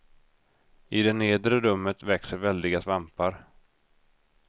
I det nedre rummet växer väldiga svampar.